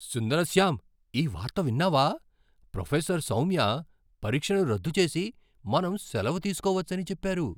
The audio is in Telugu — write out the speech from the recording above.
సుందర్శ్యాం ఈ వార్త విన్నావా? ప్రొఫెసర్ సౌమ్య పరీక్షను రద్దు చేసి, మనం సెలవు తీసుకోవచ్చని చెప్పారు!